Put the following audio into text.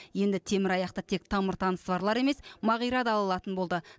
енді темір аяқты тек тамыр танысы барлар емес мағира да ала алатын болды